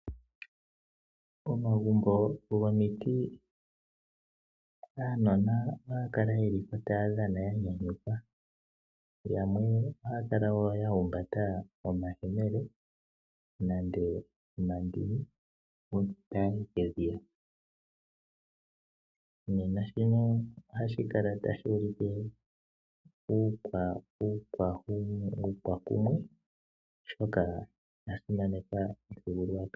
Pomagumbo gomiti aanona ohaa kala ye li po taya dhana ya nyanyukwa . Yamwe ohaya kala woo ya humbata omahemele nenge omandini uuna ta yayi kedhiya. Nena shino ohashi kala tashi ulike uukwakumwe oshoka oya simaneka omuthigululwakalo.